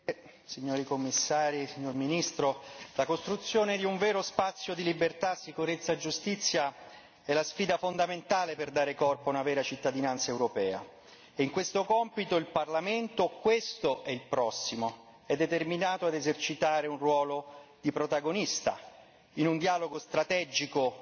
Signora Presidente, onorevoli colleghi, signori Commissari, signor Ministro, la costruzione di un vero spazio di libertà, sicurezza e giustizia è la sfida fondamentale per dare corpo a una vera cittadinanza europea. In questo compito il Parlamento questo e il prossimo è determinato a esercitare un ruolo di protagonista, in un dialogo strategico